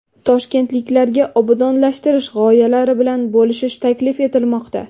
Toshkentliklarga obodonlashtirish g‘oyalari bilan bo‘lishish taklif etilmoqda.